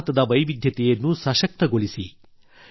ಭಾರತದ ವೈವಿಧ್ಯವನ್ನು ಸಶಕ್ತಗೊಳಿಸಿ